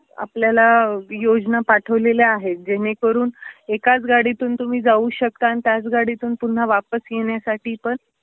आपल्याला योजना पाठवलेल्या आहे, जेणे करून एकाच गाडीतून तुम्ही जाऊ शकता आणि त्याच गाडीतून पुन्हा वापस येण्यासाठी पण